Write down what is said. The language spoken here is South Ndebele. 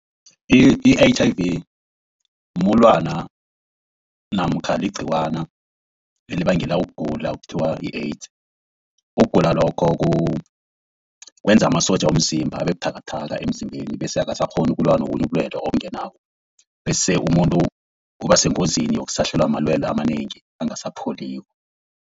I-H_I_V mulwana namkha ligciwana elibangela ukugula okuthiwa yi-AIDS. Ukugula lokho kwenza amasotja womzimba abe buthakathaka emzimbeni bese akasakghoni ukulwa nobunye ubulwelwe obungenako, bese umuntu uba sengozini yokusahlelwa malwelwe amanengi angasapholiko.